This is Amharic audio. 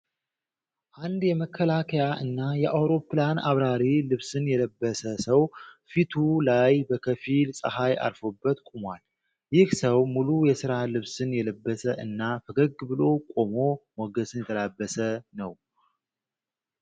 አንድ የመከላከያ እና የአውሮፕላን አብራሪ ልብስን የለበሰ ሰው ፊቱ ላይ በከፊል ጸሃይ አርፎበት ቆሟል። ይህ ሰው ሙሉ የስራ ልብስን የለበሰ እና ፈገግ ብሎ ቆሞ ሞገስን የተላበሰ ነው።